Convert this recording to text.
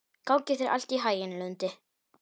Gangi þér allt í haginn, Lundi.